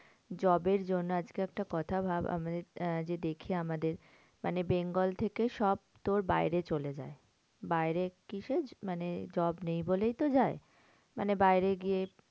Job এর জন্য আজকে একটা কথা ভাব আমাদের আহ যে দেখে আমাদের মানে bengal থেকে সব তোর বাইরে চলে যায়। বাইরে কিসের মানে job নেই বলেই তো যায়। মানে বাইরে গিয়ে